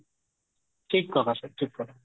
ଠିକ କଥା sir ଠିକ କଥା